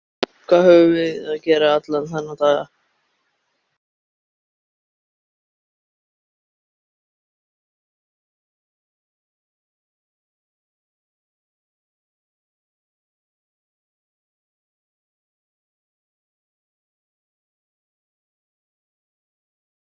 En hann hefur afsökun, mikla afsökun.